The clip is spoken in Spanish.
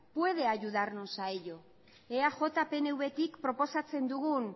puede ayudarnos a ello eaj pnvtik proposatzen dugun